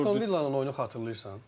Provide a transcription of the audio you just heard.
Sən Villa'nın oyunu xatırlayırsan?